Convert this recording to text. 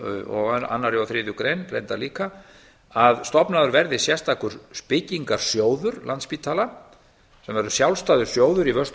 og annarri og þriðju grein reyndar líka að stofnaður verði sérstakur byggingarsjóður landspítala sem verður sjálfstæður sjóður í vörslu